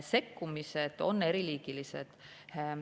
Sekkumised on eriliigilised.